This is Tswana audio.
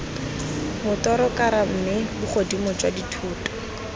motorokara mme bogodimo jwa dithoto